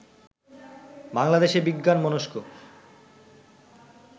বাংলাদেশে বিজ্ঞানমনস্ক